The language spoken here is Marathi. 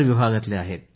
विभागात आहेत